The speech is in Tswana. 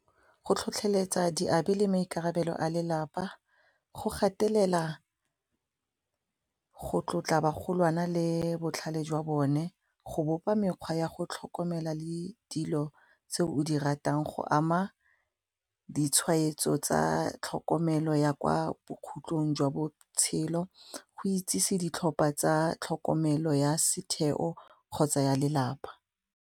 Go tlhotlheletsa diabi le maikarabelo a lelapa, go gatelela go tlotla ba golwane le botlhale jwa bone, go bopa mekgwa ya go tlhokomela le dilo tse o di ratang go ama ditshwaetso tsa tlhokomelo ya kwa bokhutlong jwa botshelo go itsise ditlhopha tsa tlhokomelo ya setheo kgotsa ya lelapa.